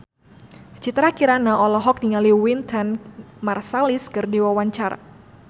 Citra Kirana olohok ningali Wynton Marsalis keur diwawancara